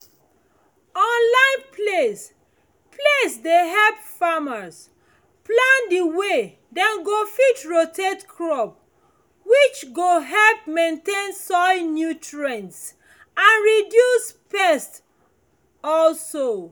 online place place dey help farmers plan dey way dem go fit rotate crop which go help maintain soil nutrients and reduce pest um